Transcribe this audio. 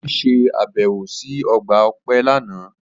Obi se abẹwo si ọgba ọpẹ lana.